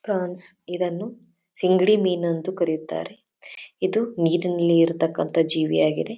France ಇದನ್ನು ಸಿಂಗಡಿ ಮೀನು ಅಂತು ಕರೆಯುತ್ತಾರೆ ಇದು ನೀರಿನಲ್ಲಿ ಇರ್ತಕಾಂತ ಜೀವಿಯಾಗಿದೆ.